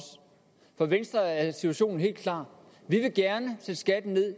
for venstre er situation helt klar vi vil gerne sætte skatten ned